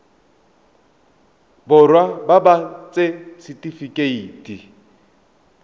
borwa ba ba ts setifikeite